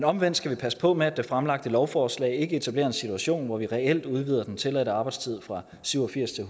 omvendt skal vi passe på med at det fremlagte lovforslag ikke etablerer en situation hvor vi reelt udvider den tilladte arbejdstid fra syv og firs til